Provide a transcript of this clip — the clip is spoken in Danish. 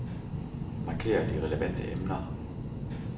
Marker de relevante emner.